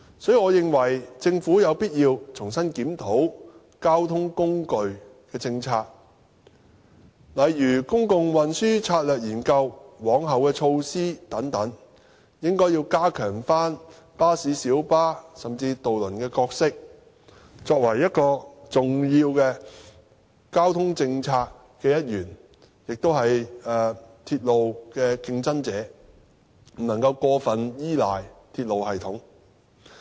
所以，我認為政府有必要重新檢討交通工具政策，例如研究公共運輸策略及往後措施等，應該重新加強巴士、小巴，甚至渡輪的角色，作為交通政策的重要一員，亦是鐵路的競爭者，不能夠過分依賴鐵路系統。